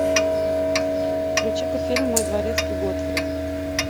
включи ка фильм мой дворецкий годфри